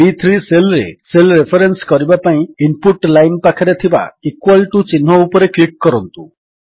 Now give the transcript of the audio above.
ବି3 cell ରେ cell reference କରିବା ପାଇଁ ଇନପୁଟ ଲାଇନ୍ ପାଖରେ ଥିବା ଇକ୍ୱାଲ୍ ଟିଓ ଚିହ୍ନ ଉପରେ କ୍ଲିକ୍ କରନ୍ତୁ